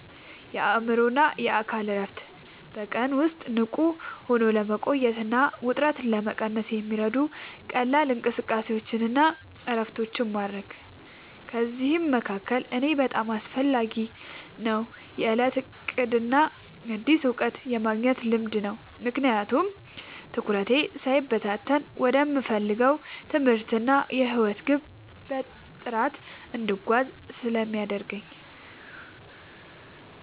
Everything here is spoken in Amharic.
የአእምሮና አካል እረፍት፦ በቀን ውስጥ ንቁ ሆኖ ለመቆየትና ውጥረትን ለመቀነስ የሚረዱ ቀላል እንቅስቃሴዎችንና እረፍቶችን ማድረግ። ከእነዚህ መካከል ለእኔ በጣም አስፈላጊው የዕለት ዕቅድና አዲስ እውቀት የማግኘት ልማድ ነው፤ ምክንያቱም ትኩረቴ ሳይበታተን ወደምፈልገው የትምህርትና የሕይወት ግብ በጥራት እንድጓዝ ስለሚያደርጉኝ።